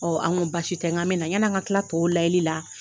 an go basi tɛ n ga mina, ɲɛna n ka kila tɔw layɛli la